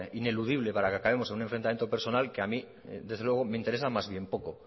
ineludible para que acabemos en un enfrentamiento personal que a mí desde luego me interesan más bien poco